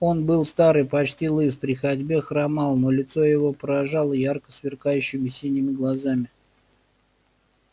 он был стар и почти лыс при ходьбе хромал но лицо его поражало ярко сверкающими синими глазами